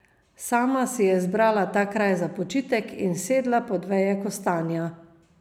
Sama si je izbrala ta kraj za počitek in sedla pod veje kostanja.